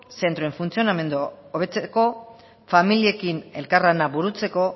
zentroen funtzionamendua hobetzeko familiekin elkarlana burutzeko